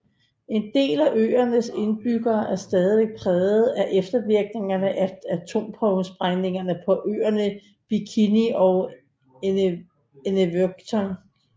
En del af øernes indbyggere er stadig præget af eftervirkningerne af atomprøvesprængninger på øerne Bikini og Enewetok